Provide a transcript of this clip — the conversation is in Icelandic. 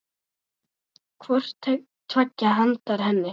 hvort tveggja handa henni.